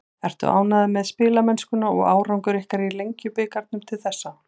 Ertu ánægður með spilamennsku og árangur ykkar í Lengjubikarnum til þessa?